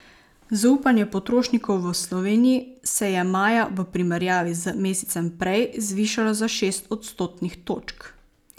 Zaupanje potrošnikov v Sloveniji se je maja v primerjavi z mesecem prej zvišalo za šest odstotnih točk.